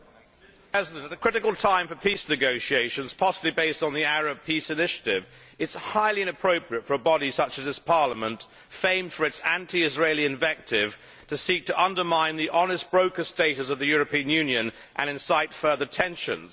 Mr President, at a critical time for peace negotiations, possibly based on the Arab peace initiative, it is highly inappropriate for a body such as this Parliament, famed for its anti Israeli invective, to seek to undermine the honest broker status of the European Union and incite further tensions.